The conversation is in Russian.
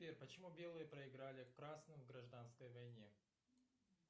сбер почему белые проиграли красным в гражданской войне